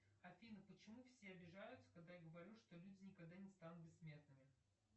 афина почему все обижаются когда я говорю что люди никогда не станут бессмертными